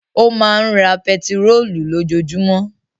Ó máa ń ra pẹtírólù lójoojúmọ́.